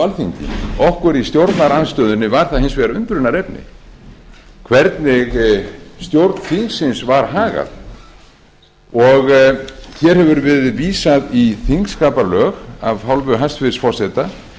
alþingi okkur í stjórnarandstöðunni var það hins vegar undrunarefni hvernig stjórn þingsins var hagað hér hefur verið vísað í þingskapalög af hálfu hæstvirts forseta